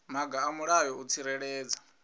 maga a mulayo u tsireledza